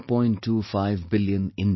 25 billion Indians